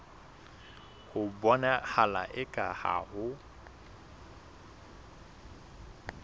ho bonahala eka ha ho